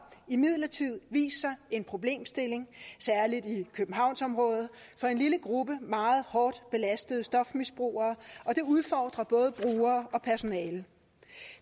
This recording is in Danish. imidlertid vist sig en problemstilling særlig i københavnsområdet for en lille gruppe meget hårdt belastede stofmisbrugere og det udfordrer både brugere og personale